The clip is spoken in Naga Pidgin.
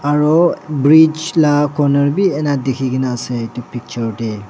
aru bridge laga conner bhi ena dekhi kina ase etu picture te.